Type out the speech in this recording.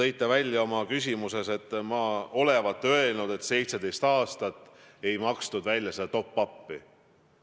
Veel te väitsite oma küsimuses, et ma olevat öelnud, et 17 aastat ei makstud välja seda top-up'i.